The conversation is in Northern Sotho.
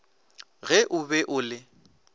ge o be o le